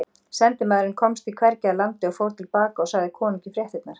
Sendimaðurinn komst því hvergi að landi og fór til baka og sagði konungi fréttirnar.